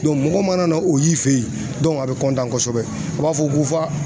mɔgɔw mana na o y'i fe ye a bɛ kosɛbɛ a b'a fɔ ko fa